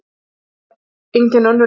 Og það er engin önnur leið.